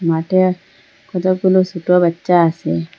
মাঠে কতগুলো সোটো বাচ্চা আসে।